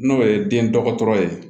N'o ye den dɔgɔtɔrɔ ye